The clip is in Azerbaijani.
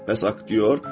Bəs aktyor?